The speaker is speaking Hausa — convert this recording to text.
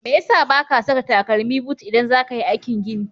Me ya sa ba ka saka takalmi but idan za ka yi aikin gini?